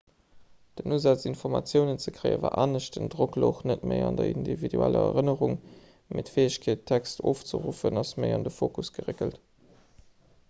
den usaz informatiounen ze kréie war anescht den drock louch net méi an der individueller erënnerung mee d'fäegkeet text ofzeruffen ass méi an de fokus geréckelt